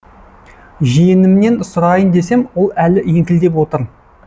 жиенімнен сұрайын десем ол әлі еңкілдеп отыр